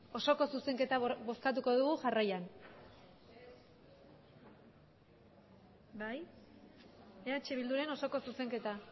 osoko zuzenketa bozkatuko dugu jarraian bai eh bilduren osoko zuzenketa